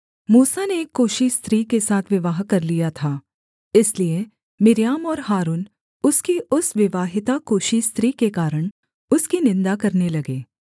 मूसा ने एक कूशी स्त्री के साथ विवाह कर लिया था इसलिए मिर्याम और हारून उसकी उस विवाहिता कूशी स्त्री के कारण उसकी निन्दा करने लगे